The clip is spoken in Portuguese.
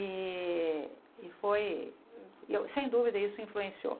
E e foi, eu sem dúvida, isso influenciou.